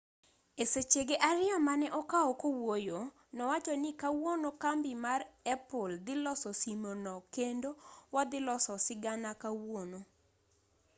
e sechege ariyo mane okawo kowuoyo nowacho ni kawuono kambi mar apple dhi loso simono kendo wadhi loso sigana kawuono